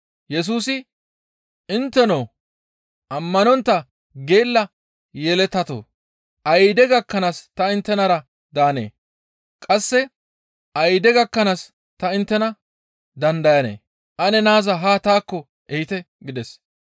Yesusi, «Intteno ammanontta geella yeletatoo! Ayde gakkanaas ta inttenara daanee? Qasse ayde gakkanaas ta inttena dandayanee? Ane naaza haa taakko ehite» gides.